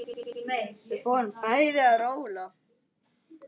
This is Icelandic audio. Við fórum bæði að róla.